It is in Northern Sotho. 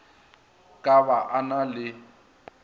ka ba a na le